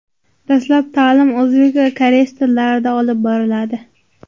Dastlab ta’lim o‘zbek va koreys tillarida olib boriladi.